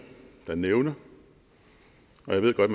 der nævner og jeg ved godt